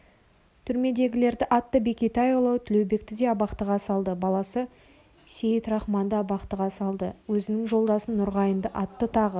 түрмедегілерді атты бекетайұлы тілеубекті де абақтыға салды баласы сейітрақманды абақтыға салды өзіңнің жолдасың нұрғайынды атты тағы